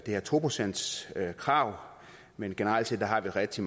her to procentskrav men generelt set har vi rigtig